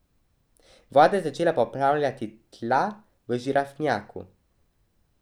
Voda je začela poplavljati tla v žirafnjaku.